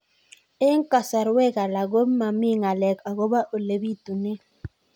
Eng' kasarwek alak ko mami ng'alek akopo ole pitunee